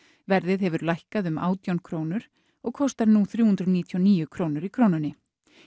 verðið hefur lækkað um átján krónur og kostar smjörið nú þrjú hundruð níutíu og níu krónur í Krónunni